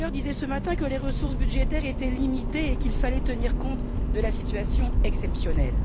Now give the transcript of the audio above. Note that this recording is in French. Juncker disait ce matin que les ressources budgétaires étaient limitées et qu'il fallait tenir compte de la situation exceptionnelle.